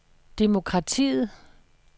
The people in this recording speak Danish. demokratiet